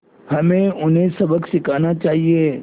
हमें उन्हें सबक सिखाना चाहिए